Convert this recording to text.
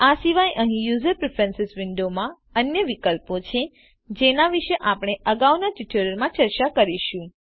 આ સિવાય અહી યુઝર પ્રીફ્રેન્સીસ વિન્ડોમાં અન્ય વિકલ્પો છે જેના વિશે આપણે અગાઉ ના ટ્યુટોરિયલ્સ માં ચર્ચા કરીશું